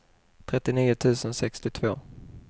trettionio tusen sextiotvå